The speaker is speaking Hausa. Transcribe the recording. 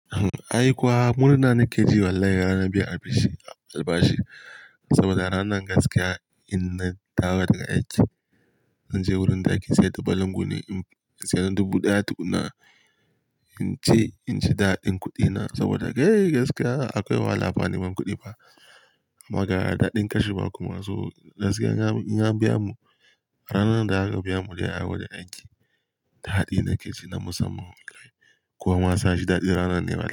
Ai kuwa murna nake ji wallahi rana biyu al bashi, saboda ranar gaskiya in na taho daga aiki, na je wurin daki sai dubalin guni, sai dubu ɗaya dubu na in ce in ci daɗin kuɗina saboda ga yi gaskiya akwai wahala fa ne man kuɗi ba. Amma ga yara daɗin kashi ba kuma so gaskiya ya biya mu. A ranar da ya gakabiya mu da ya hawo da aiki, daɗi nake ji na musamman ma kai. Ko ma na sa shi daɗi ranan ne wallahi.